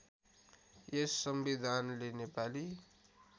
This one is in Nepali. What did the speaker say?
यस संविधानले नेपाली